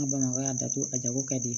N ka bamakɔ y'a datugu a jago ka di